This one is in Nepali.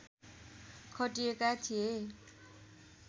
खटिएका थिए